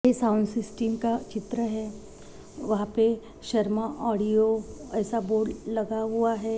Sound system का चित्र है यहाँ पे शर्मा ऑडियो ऐसा बोर्ड लगा हुआ है।